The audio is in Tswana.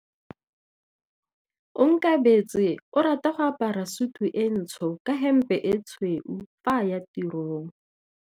Onkabetse o rata go apara sutu e ntsho ka hempe e tshweu fa a ya tirong.